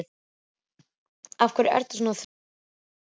Af hverju ertu svona þrjóskur, Sigurbjartur?